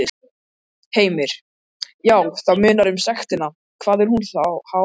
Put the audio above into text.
Heimir: Já, það munar um sektina, hvað er hún há?